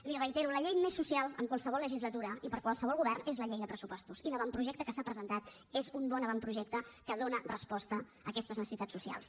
li ho reitero la llei més social en qualsevol legislatura i per qualsevol govern és la llei de pressupostos i l’avantprojecte que s’ha presentat és un bon avantprojecte que dóna resposta a aquestes necessitats socials